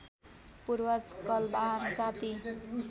पूर्वज कलवार जाति